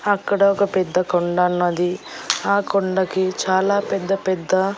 అక్కడ ఒక పెద్ద కొండన్నది ఆ కొండకి చాలా పెద్ద పెద్ద--